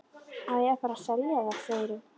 Á að fara að selja það, segirðu?